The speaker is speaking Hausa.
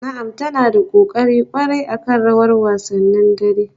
Na'am ta na da kokari kwarai akan rawar wasannin dare